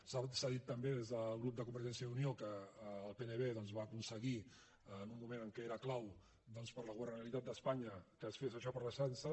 s’ha dit també des del grup de convergència i unió que el pnv doncs va aconseguir en un moment en què era clau per a la governabilitat d’espanya que es fes això per a l’ertzaintza